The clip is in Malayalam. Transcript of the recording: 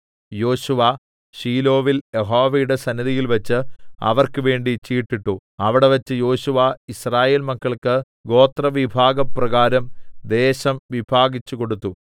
യോശുവ ശീലോവിൽ യഹോവയുടെ സന്നിധിയിൽവെച്ച് അവർക്ക് വേണ്ടി ചീട്ടിട്ടു അവിടെവെച്ച് യോശുവ യിസ്രായേൽ മക്കൾക്ക് ഗോത്രവിഭാഗപ്രകാരം ദേശം വിഭാഗിച്ചു കൊടുത്തു